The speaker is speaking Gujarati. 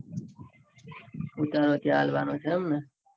ઉતારો ત્યાં અલવાનો છે. એમને